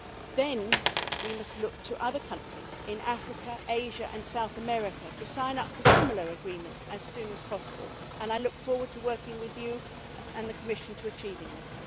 Then we must look to other countries in Africa, Asia and South America to sign up to similar agreements as soon as possible and I look forward to working with you and the Commission to achieve this.